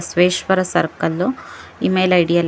Basaveshwara circle email ID ಎಲ್ಲ--